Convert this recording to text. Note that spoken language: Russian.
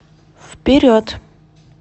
вперед